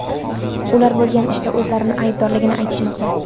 Ular bo‘lgan ishda o‘zlarini aybdorligini aytishmoqda.